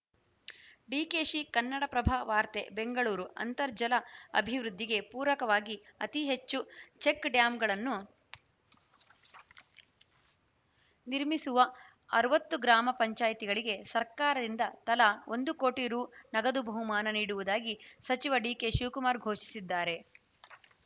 ಡಿಕೆಶಿ ಕನ್ನಡಪ್ರಭ ವಾರ್ತೆ ಬೆಂಗಳೂರು ಅಂತರ್ಜಲ ಅಭಿವೃದ್ಧಿಗೆ ಪೂರಕವಾಗಿ ಅತಿ ಹೆಚ್ಚು ಚೆಕ್‌ಡ್ಯಾಂಗಳನ್ನು ನಿರ್ಮಿಮಿಸುವ ಅರವತ್ತು ಗ್ರಾಮ ಪಂಚಾಯ್ತಿಗಳಿಗೆ ಸರ್ಕಾರದಿಂದ ತಲಾ ಒಂದು ಕೋಟಿ ರು ನಗದು ಬಹುಮಾನ ನೀಡುವುದಾಗಿ ಸಚಿವ ಡಿಕೆಶಿವಕುಮಾರ್‌ ಘೋಷಿಸಿದ್ದಾರೆ